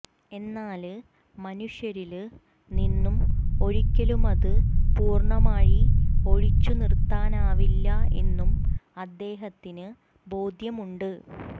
എന്നാല് മനുഷ്യരില് നിന്നും ഒരിക്കലുമത് പൂര്ണമായി ഒഴിച്ചു നിര്ത്താനാവില്ല എന്നും അദ്ദേഹത്തിന് ബോധ്യമുണ്ട്